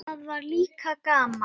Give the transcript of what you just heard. Það var líka gaman.